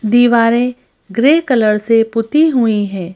दीवारें grey colour से पुती हुई हैं।